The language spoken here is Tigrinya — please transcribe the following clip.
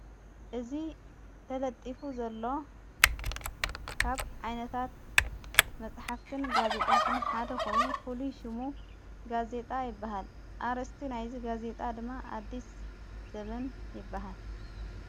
እዝ ተለጢፉ ዘሎ ካብ ዓይነታት መጽሕፍትን ጋዜጣትን ሓደ ኾይኑ ፍሉይሹሙ ጋዜጣ ይበሃል ኣርስቲ ናይዝ ጋዜጣ ድማ ኣድስ ዘምን ይበሃል።